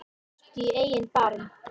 Líttu í eigin barm